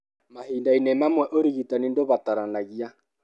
Mahinda-inĩ mamwe, ũrigitani ndũbataranagia.